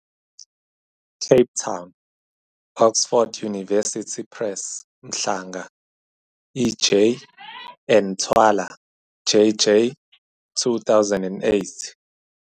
Cape Town- Oxford University Press Mhlanga, E. J. and Thwala, J. J. 2008.